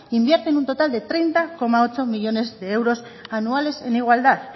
invierten un total de treinta coma ocho millónes de euros anuales en igualdad